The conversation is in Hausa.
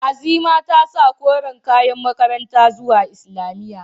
Azima ta sa koren kayan makaranta zuwa islamiyya.